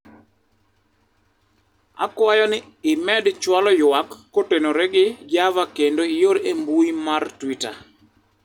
akwayo ni imed chwalo ywak kotenore gi Java kendo ior e mbui mar twita